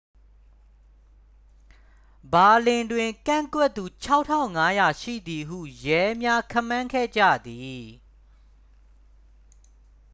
ဘာလင်တွင် ကန့်ကွက်သူ 6,500 ရှိသည်ဟု ရဲများ ခန့်မှန်းခဲ့ကြသည်